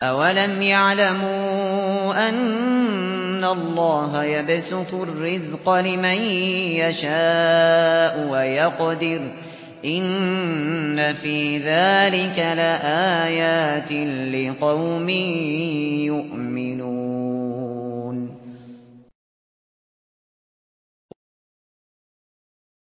أَوَلَمْ يَعْلَمُوا أَنَّ اللَّهَ يَبْسُطُ الرِّزْقَ لِمَن يَشَاءُ وَيَقْدِرُ ۚ إِنَّ فِي ذَٰلِكَ لَآيَاتٍ لِّقَوْمٍ يُؤْمِنُونَ